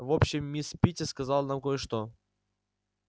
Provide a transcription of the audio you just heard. в общем мисс питти сказала нам кое-что